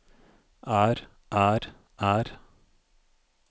er er er